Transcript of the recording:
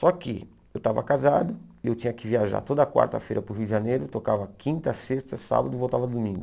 Só que eu estava casado e eu tinha que viajar toda quarta-feira para o Rio de Janeiro, tocava quinta, sexta, sábado e voltava domingo.